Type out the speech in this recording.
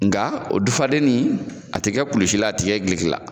Nka o dufalen ni, a te kɛ kulusi la, a ti kɛ duloki la.